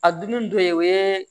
A dun dɔ ye o ye